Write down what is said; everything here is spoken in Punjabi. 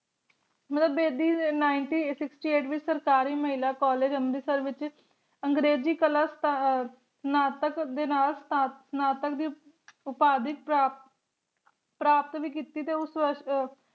ਮਤਲਬ Bedi One Nine Six Eight ਸਰਕਾਰੀ ਮਹਿਲਾ College ਅਮ੍ਰਿਤਸਰ ਵਿਚ ਅੰਗਰੇਜ਼ੀ ਕਲਾ ਅਹ ਸਨਾਤਕ ਦੇ ਨਾਲ ਸਨਾਤਕ ਦੀ ਉਪਾਧਿ ਪ੍ਰਾਪਤ ਪ੍ਰਾਪਤ ਵੀ ਕੀਤੀ ਤੇ ਉਸ ਅਹ